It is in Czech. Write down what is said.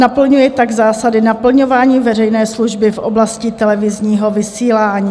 Naplňuje tak zásady naplňování veřejné služby v oblasti televizního vysílání.